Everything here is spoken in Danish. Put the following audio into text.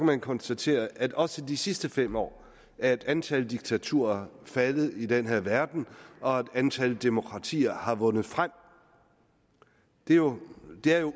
man konstatere at også de sidste fem år er antallet af diktaturer faldet i den her verden og at antallet af demokratier har vundet frem det er jo